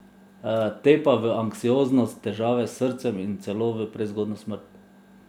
Te pa v anksioznost, težave s srcem in celo v prezgodnjo smrt.